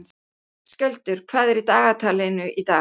Skjöldur, hvað er í dagatalinu í dag?